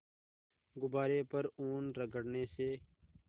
गुब्बारे पर ऊन रगड़ने से